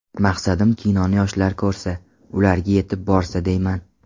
Maqsadim kinoni yoshlar ko‘rsa, ularga yetib borsa deyman.